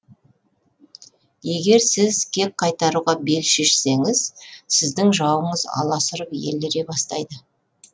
егер сіз кек қайтаруға бел шешсеңіз сіздің жауыңыз аласұрып еліре бастайды